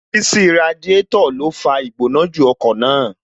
Ṣíṣí Radiátò ló fa Ìgbónájù ọkọ̀ máa